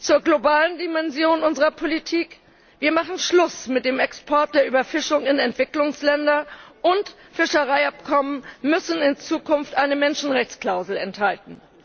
Zur globalen Dimension unserer Politik Wir machen Schluss mit dem Export der Überfischung in Entwicklungsländer, und Fischereiabkommen müssen in Zukunft eine Menschenrechtsklausel enthalten.